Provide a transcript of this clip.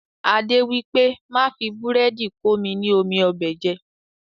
Adé wípé, Má fi búrẹ́dì komi ni omi ọbẹ̀ jẹ.